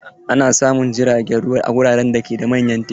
Ana samun jirgin ruwan a wuraren da ke da manyan teku.